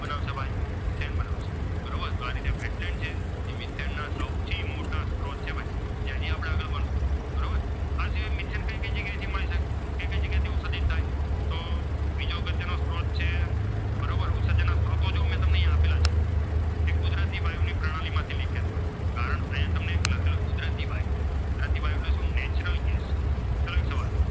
પ્રતિબા એટલે કયું gas Natural gas